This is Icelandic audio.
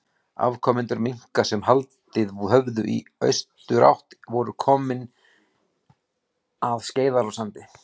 Afkomendur minka sem haldið höfðu í austurátt voru komnir að Skeiðarársandi.